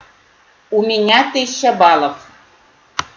у меня тысяча баллов